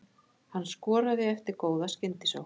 Hann skoraði eftir góða skyndisókn.